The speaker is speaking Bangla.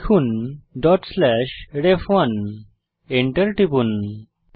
লিখুন ref1ডট স্লেস রেফ1 Enter টিপুন